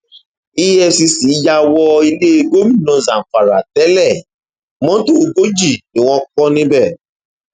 efcc yà wọ ilé gómìnà zamfara tẹlẹ mọtò ogójì ni wọn kọ níbẹ